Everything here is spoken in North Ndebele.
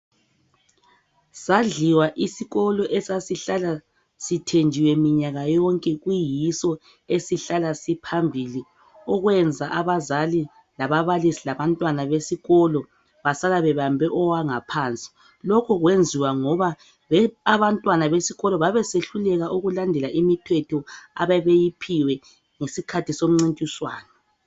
Sadliwa isikolo esasihlala sithenjiwe minyaka yonke kuyiso esihlala siphambili okwenza abazali, lababalisi labantwana besikolo basala bebambe owangaphansi lokhu kwenziwa ngoba abantwana besikolo babesehluleka ukulandela imithetho ababeyiphiwe ngesikhathi somncintiswano.